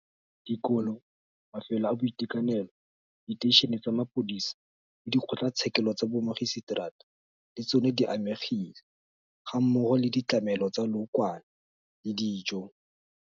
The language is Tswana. Dikolo, mafelo a boitekanelo, diteišene tsa mapodisa le dikgotlatshekelo tsa bommagiseteraa le tsona di amegile, gammogo le ditlamelo tsa lookwane le dijo.